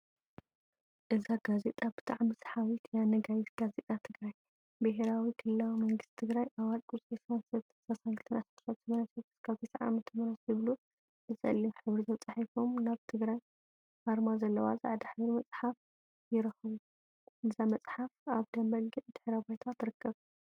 እዛ ጋዜጣ ብጣዕሚ ሰሓቢት እያ። ነጋሪት ጋዜጣ ትግራይ፣ ብሄራዊ ክልላዊ መንግስቲ ትግራይ ኣዋጅ ቁጽሪ 23-32/1989-90ዓ/ም ዝብሉ ብጸሊም ሕብሪ ተጻሒፎም ናይ ትግራይ ኣርማ ዘለዋ ጻዕዳ ሕብሪ መጽሓፍ ይርከቡ። እዛ መጽሓፍ ኣብ ደም በጊዕ ድሕረ ባይታ ትርከብ።